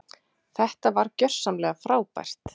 Þetta var gjörsamlega frábært.